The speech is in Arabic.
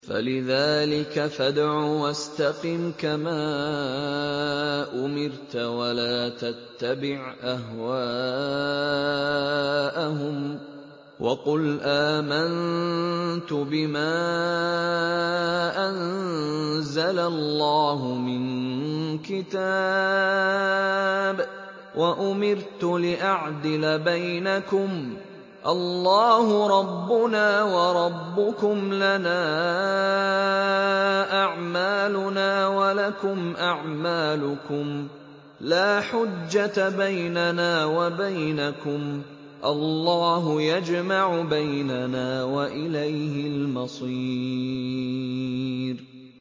فَلِذَٰلِكَ فَادْعُ ۖ وَاسْتَقِمْ كَمَا أُمِرْتَ ۖ وَلَا تَتَّبِعْ أَهْوَاءَهُمْ ۖ وَقُلْ آمَنتُ بِمَا أَنزَلَ اللَّهُ مِن كِتَابٍ ۖ وَأُمِرْتُ لِأَعْدِلَ بَيْنَكُمُ ۖ اللَّهُ رَبُّنَا وَرَبُّكُمْ ۖ لَنَا أَعْمَالُنَا وَلَكُمْ أَعْمَالُكُمْ ۖ لَا حُجَّةَ بَيْنَنَا وَبَيْنَكُمُ ۖ اللَّهُ يَجْمَعُ بَيْنَنَا ۖ وَإِلَيْهِ الْمَصِيرُ